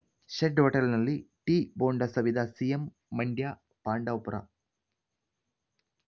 shed ಹೋಟೆಲ್‌ನಲ್ಲಿ tea bonda ಸವಿದ CM ಮಂಡ್ಯಪಾಂಡವಪುರ